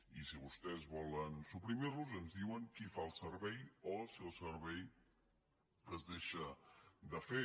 i si vostès volen suprimir los ens diuen qui fa el servei o si el servei es deixa de fer